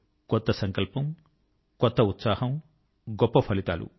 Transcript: కొత్త సంకల్పం కొత్త ఉత్సాహం మరియు గొప్ప ఫలితాలు